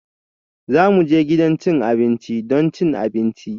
Za mu je gidan cin abinci don cin abinci